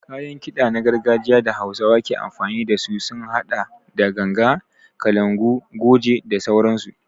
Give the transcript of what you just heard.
Kayan kiɗa na gargajiya da hausawa ke amfani dasu sun haɗa da ganga, kalangu, goje da sauransu.